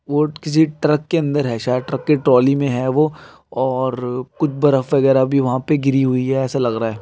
वो किसी ट्रक के अंदर है शायद ट्रक की ट्रॉली में है वो और कुछ बर्फ वगैरह भी वहा पे गिरी हुई है ऐसा लग रहा है।